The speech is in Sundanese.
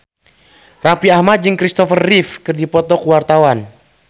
Raffi Ahmad jeung Christopher Reeve keur dipoto ku wartawan